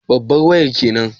Babbar wayar kenan?